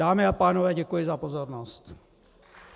Dámy a pánové, děkuji za pozornost.